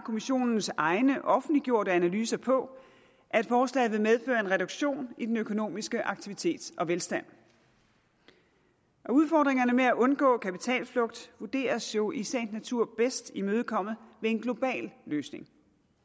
kommissionens egne offentliggjorte analyser på at forslaget vil medføre en reduktion i den økonomiske aktivitet og velstand udfordringerne med at undgå kapitalflugt vurderes jo i sagens natur bedst imødekommet ved en global løsning